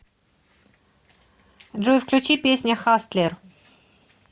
джой включи песня хастлер